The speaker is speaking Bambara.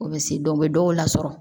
U bɛ se dɔw bɛ dɔw lasɔrɔ